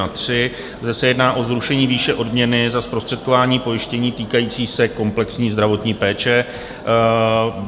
Zde se jedná o zrušení výše odměny za zprostředkování pojištění týkající se komplexní zdravotní péče.